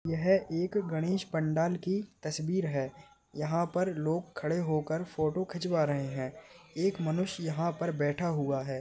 यह एक गणेश पंडाल की तस्वीर है यहाँ पर लोग खड़े होकर फोटो खिचवा रहे है एक मनुष्य यहा पर बैठा हुआ है।